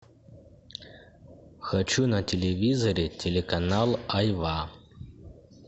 хочу на телевизоре телеканал айва